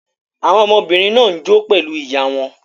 Àwọn ọmọbìnrin náà ń jó pẹ̀lú ìyá wọn.